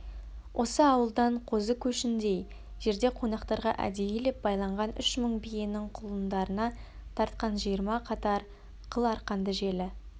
осы ауылдан қозы көшіндей жерде қонақтарға әдейілеп байланған үш мың биенің құлындарына тартқан жиырма қатар қыл арқанды желі